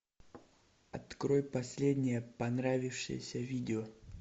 открой последнее понравившееся видео